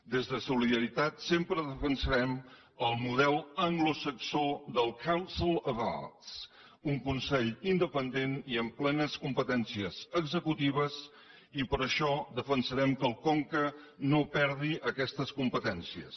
des de solidaritat sempre defensarem el model anglosaxó del council of arts un consell independent i amb plenes competències executives i per això defensarem que el conca no perdi aquestes competències